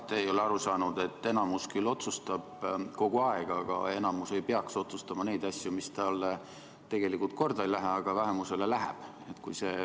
Te ei ole aru saanud, et enamus küll kogu aeg otsustab, aga enamus ei peaks otsustama neid asju, mis talle tegelikult korda ei lähe, aga vähemusele lähevad.